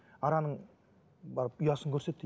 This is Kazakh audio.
араның барып ұясын көрсет дейді